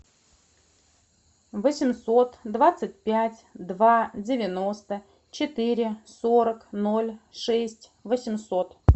восемьсот двадцать пять два девяносто четыре сорок ноль шесть восемьсот